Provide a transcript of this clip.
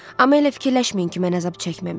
Amma elə fikirləşməyin ki, mən əzab çəkməmişəm.